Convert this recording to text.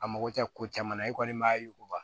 A mago tɛ ko caman na e kɔni m'a yuguba